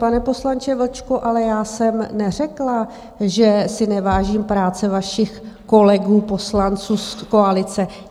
Pane poslanče Vlčku, ale já jsem neřekla, že si nevážím práce vašich kolegů poslanců z koalice.